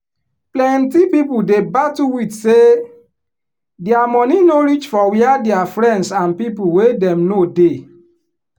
plenty people dey battle with say dia money no reach for wia dia friends and people wey dem know dey